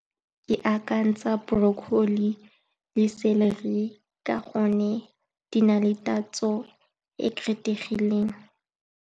Ke akantsha broccoli , ka gonne di na le tatso e e kgethegileng.